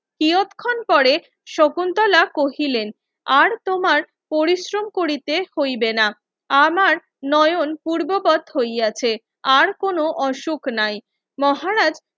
তিয়তখন করে শকুন্তলা কহিলেন আর তোমার পরিশ্রম করিতে হইবে না আমার নয়ন পূর্বপদ হইয়াছে আর কোন অসুখ নাই মহারাজ